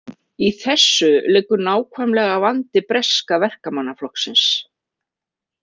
Í þessu liggur nákvæmlega vandi breska Verkamannaflokksins.